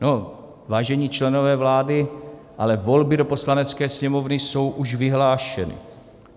No, vážení členové vlády, ale volby do Poslanecké sněmovny jsou už vyhlášeny.